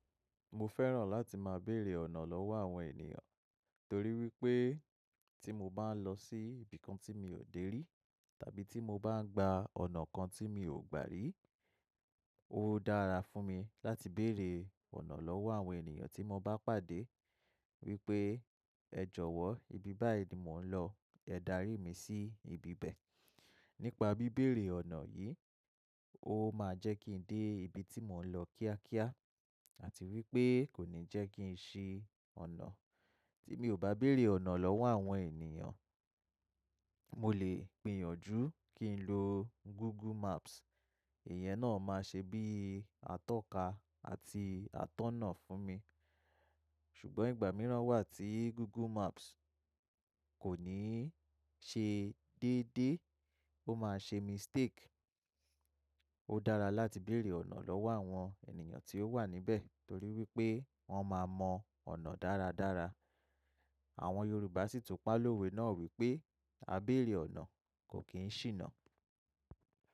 Mo fẹ́ràn láti máa bèrè ọ̀nà lọ́wọ́ àwọn ènìyàn, torí wípé tí mo bá ń lọ sí ibi kan tí mi ò dé rí tàbí tí mo bá ń gba ọ̀nà kan tí mi ò gbà rí, ó dára fún mi láti bèrè ọ̀nà lọ́wọ́ àwọn ènìyàn tí mo bá pàdé wípé "ẹ jọ̀wọ́ ibi báyìí ni mò ń lọ, ẹ darí mi sí ibi bẹ́ẹ̀." Nípa bí bèrè ọ̀nà yìí, ó máa jẹ́ kí ń dé ibi tí mò ń lọ kíákíá àti wípé kò ní jẹ́ kí ń ṣe ọ̀nà tí mi ò bá bèrè ọ̀nà lọ́wọ́ àwọn ènìyàn. Mo lè gbìyànjú kí n lo Google Maps, èyẹ́ náà máa ṣe bí atọ́ka àti atọ́nà fún mi, ṣùgbọ́n ìgbà mìíràn wà tí Google Maps kò ní ṣe déédé, ó máa ṣe mistake. Ó dára láti bèrè ọ̀nà lọ́wọ́ àwọn ènìyàn tí ó wà níbẹ̀ torí wípé wọ́n máa mọ ọ̀nà dáradára. Àwọn Yorùbá sì tún pa lówé náà wípé "a bèrè ọ̀nà kò kí ń ṣìnà".